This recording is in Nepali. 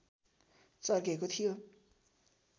चर्केको थियो